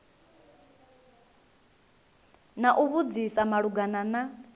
na u vhudzisa malugana na